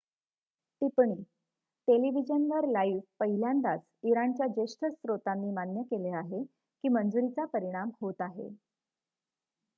टिप्पणी टेलिव्हिजनवर लाइव्ह पहिल्यांदाच इराणच्या ज्येष्ठ स्त्रोतांनी मान्य केले आहे की मंजुरीचा परिणाम होत आहे